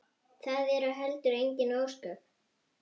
Það eru heldur engin ósköp.